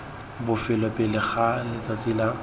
bofelo pele ga letsatsi la